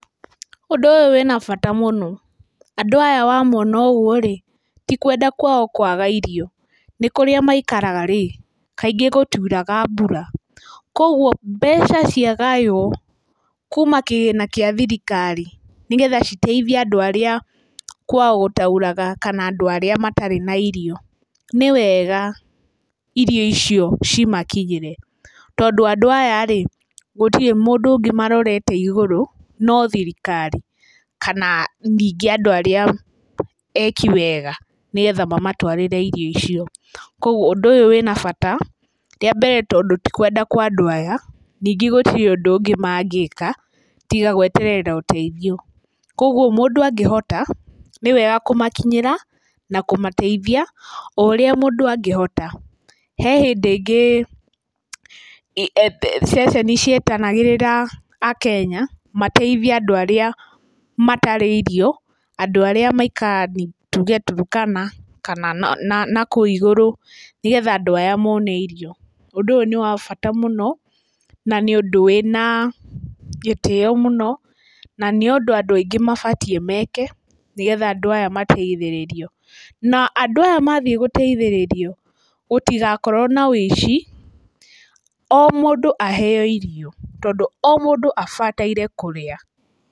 Ũndũ ũyu wĩna bata mũno, andũ aya wamona ũguo-rĩ tikũenda kwao kwaga irio, nĩkíũria maikaraga-rĩ kaingĩ gũtiuraga mbura kuoguo, mbeca ciagayo kuma kĩgĩna kĩa thirikari nĩgetha citeithie andũ arĩa kwa gũtauraga, kana andũ arĩa matarĩ na irio, nĩ wega irio icio cimakinyĩre, tondũ andũ aya-rĩ gũtirĩ mũndũ ũngĩ marorete igũrũ no thirikari kana ningĩ andũ arĩa eki wega nĩgetha mamatũarĩre irio icio. Kuoguo ũndũ wĩna bata, rĩ ambere tondũ tikũenda kwa andũ aya, ningĩ gũtirĩ ũndũ ũngĩ ma ngĩka tiga gũeterera ũteithio. Kuoguo mũndũ angĩhota nĩ wega kũmakinyĩra na kũmateithia o ũrĩa mũndũ angĩhota. He hĩndĩ ĩngĩ, ceceni cietanagĩrĩra akenya mateithie andũ arĩa matarĩ irio, andũ aria maikaraga tuge Turkana kana nakũu igũrũ, nĩgetha andũ aya mone irio. Ũndũ ũyũ nĩ wa bata mũno, na nĩ ũndũ wĩna gĩtĩo mũno, na ni ũndũ andũ aingĩ mabatiĩ meke, nĩgetha andũ aya mateithĩrĩrio na andũ aya mathiĩ gũteithĩrĩrio, gũtigakorwo na wĩici, o mũndu aheyo irio, tondũ o mũndũ abataire kũrĩa.